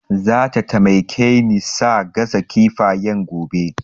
Zata taimake ni sa gasa kifayen gobe